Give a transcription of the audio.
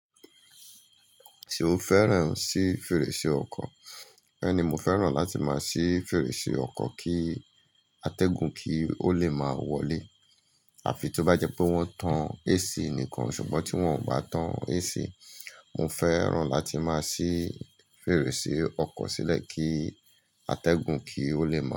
Ṣé o fẹ́ràn sí fèrèsé ọkọ̀? Bẹ́ẹ̀ni, mo fẹ́ràn láti máa sí fèrèsé ọkọ̀ kí atẹ́gùn kí ó le máa wọlé. Àfi tó bá jẹ́ pé wọ́n tan AC nìkan. Ṣùgbọ́n tí wọ́n ò bá tan AC, mo fẹ́ràn láti máa sí fèrèsé ọkọ̀ sílẹ̀ kí atẹ́gùn kí ó le máa.